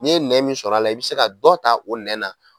N'i ye nɛn min sɔrɔ a la i bɛ se ka dɔ ta o nɛn na